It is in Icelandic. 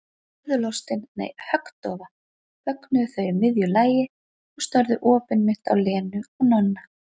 Furðulostin, nei, höggdofa þögnuðu þau í miðju lagi og störðu opinmynnt á Lenu og Nonna.